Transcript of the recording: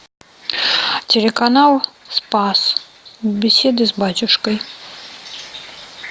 телеканал спас беседы с батюшкой